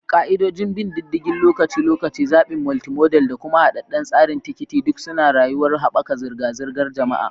Ka'idodin bin diddigin lokaci-lokaci, zaɓin multimodal, da kuma haɗaɗɗen tsarin tikiti duk suna da yuwuwar haɓaka zirga-zirgar jama'a.